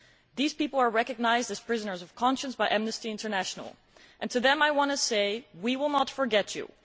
These people are recognised as prisoners of conscience by Amnesty International and to them I want to say We will not forget you.'